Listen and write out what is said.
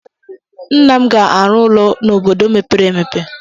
Nna m ga-arụ ụlọ n'obodo mepere emepe.